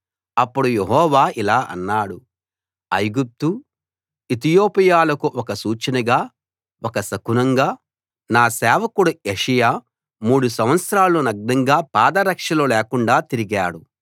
అప్పుడు యెహోవా ఇలా అన్నాడు ఐగుప్తు ఇతియోపియాలకు ఒక సూచనగా ఒక శకునంగా నా సేవకుడు యెషయా మూడు సంవత్సరాలు నగ్నంగా పాదరక్షలు లేకుండా తిరిగాడు